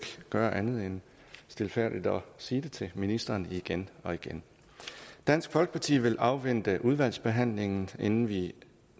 gøre andet end stilfærdigt sige det til ministeren igen og igen dansk folkeparti vil afvente udvalgsbehandlingen inden vi